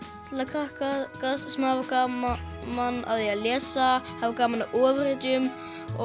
krakka sem hafa gaman af því að lesa hafa gaman af ofurhetjum